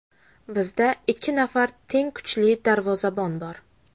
Bizda ikki nafar teng kuchli darvozabon bor.